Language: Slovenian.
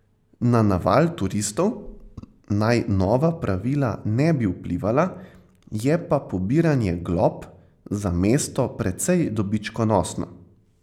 Na naval turistov naj nova pravila ne bi vplivala, je pa pobiranje glob za mesto precej dobičkonosno.